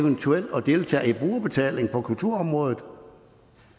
eventuelt at deltage i brugerbetaling på kulturområdet